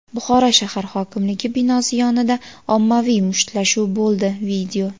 Buxoro shahar hokimligi binosi yonida ommaviy mushtlashuv bo‘ldi.